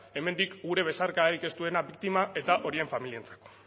hemendik gure besarkadarik estuena biktima eta horien familientzat